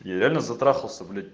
я реально затрахался блять